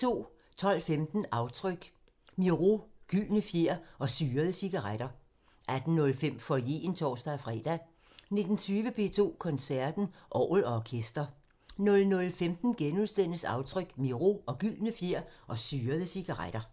12:15: Aftryk – Miro, gyldne fjer og syrede cigaretter 18:05: Foyeren (tor-fre) 19:20: P2 Koncerten – Orgel & orkester 00:15: Aftryk – Miro, gyldne fjer og syrede cigaretter *